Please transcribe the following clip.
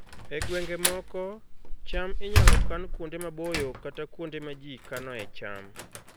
E gwenge moko, cham inyalo kan kuonde maboyo kata kuonde ma ji kanoe cham